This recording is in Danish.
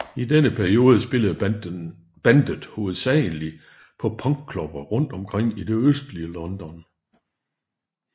I denne periode spillede bandet hovedsagelig på punkklubber rundt omkring i det østlige London